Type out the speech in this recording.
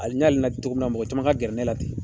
Ali n y'ale ladi cogo min na mɔgɔ caman ka gɛrɛ ne la ten.